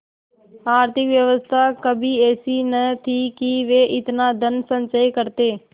आर्थिक व्यवस्था कभी ऐसी न थी कि वे इतना धनसंचय करते